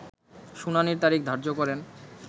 শুনানির তারিখ ধার্য করেন